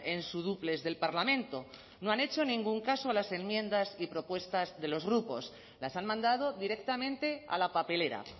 en su dúplex del parlamento no han hecho ningún caso a las enmiendas y propuestas de los grupos las han mandado directamente a la papelera